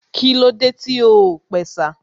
Kílódé tí o ò pẹ̀sà?